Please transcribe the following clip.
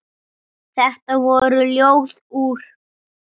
Þetta voru Ljóð úr